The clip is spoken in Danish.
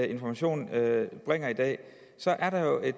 information bringer i dag så er der jo i